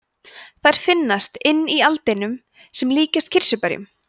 þær finnast inni í aldinum sem líkjast kirsuberjum